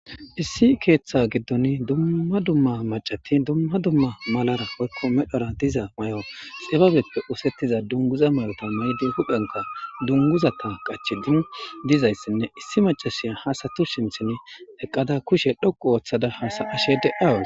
Issi ketha gidon duma duma mac'ati duma duma malara woyko medhora diza mayo dhibabeppe osetiza dunguza mayota mayidi huphiyankka dunguzata qachidi dizaysine issi mac'asiya ha asatu sinten eqada kushe dhoqu otada hasa'ashen de'awus.